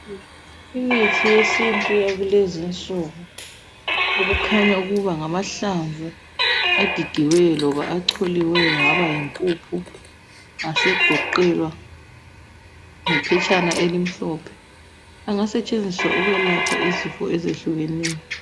Imithi yesiNtu yakulezinsuku okukhanya ukuba ngamahlamvu agigiweyo loba acholiweyo aba yimpuphu asegoqelwa ngephetshana elimhlophe engasetshenziswa ukwelapha izifo ezehlukeneyo.